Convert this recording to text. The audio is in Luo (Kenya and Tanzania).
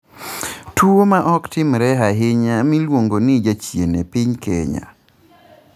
Tuo ma ok timre ahinya miluongo ni jachien e piny Kenya